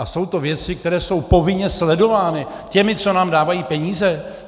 A jsou to věci, které jsou povinně sledovány těmi, co nám dávají peníze.